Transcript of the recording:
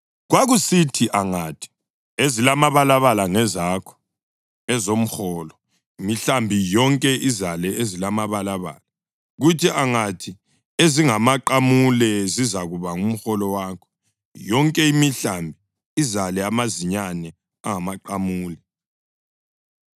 Kwakusithi angathi, ‘Ezilamabalabala ngezakho, ezomholo,’ imihlambi yonke izale ezimabalabala; kuthi angathi, ‘Ezingamaqamule zizakuba ngumholo wakho,’ yonke imihlambi izale amazinyane angamaqamule.